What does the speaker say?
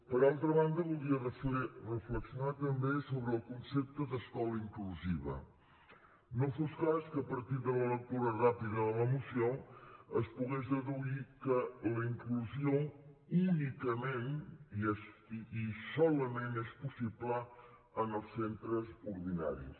per altra banda voldria reflexionar també sobre el concepte d’escola inclusiva no fos cas que a partir de la lectura ràpida de la moció es pogués deduir que la inclusió únicament i solament és possible en els centres ordinaris